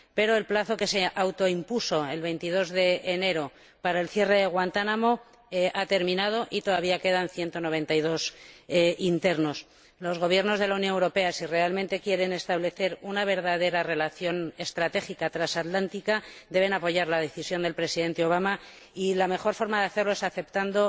Pero el plazo que se autoimpuso —el 22 de enero— para el cierre de Guantánamo ha terminado y todavía quedan 192 internos. Si los Gobiernos de la Unión Europea realmente quieren establecer una verdadera relación estratégica transatlántica, deben apoyar la decisión del Presidente Obama y la mejor forma de hacerlo es aceptando